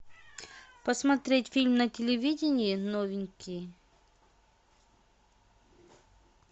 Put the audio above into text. посмотреть фильм на телевидении новенькие